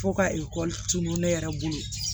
Fo ka ekɔli tun ne yɛrɛ bolo